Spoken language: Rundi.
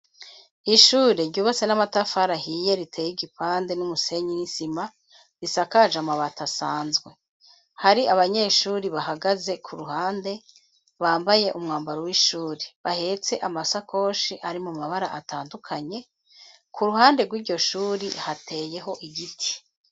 Ishure ryubase n'amatafara hiye riteye igipande n'umusenyi n'insima risakaje amabati asanzwe, hari abanyeshuri bahagaze ku ruhande bambaye umwambaro w'ishuri bahetse amasakoshi ari mu mabara atandukanye, ku ruhande rw'iryo shuri hateyeho igiti.